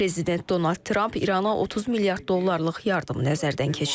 Prezident Donald Trump İrana 30 milyard dollarlıq yardım nəzərdən keçirir.